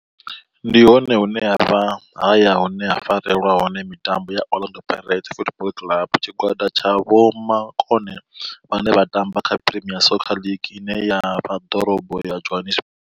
Ndi hone hune havha haya hune ha farelwa hone mitambo ya Orlando Pirates Football Club. Tshigwada tsha vhomakone vhane vha tamba kha Premier Soccer League ine ya vha ḓorobo ya Johannesburg.